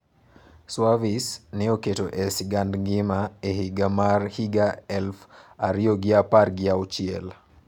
Suavis ne oketo e sigand ngima e higa mar higa elufu ariyo gi apar gi auchiel.